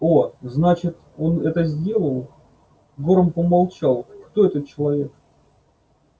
о значит он это сделал горм помолчал кто этот человек